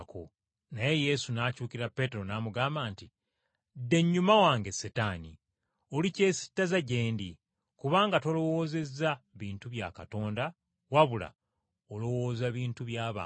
Naye Yesu n’akyukira Peetero n’amugamba nti, “Dda ennyuma wange Setaani. Oli kyesittaza gye ndi, kubanga tolowoozeza bintu bya Katonda wabula olowooza bintu bya bantu.”